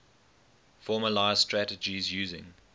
formalised strategies using